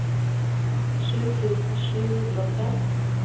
sju tusen sju hundre og fem